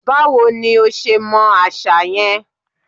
Báwo ní o ṣe mọ àṣà yẹn?